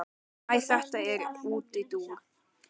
Æ þetta var útúrdúr.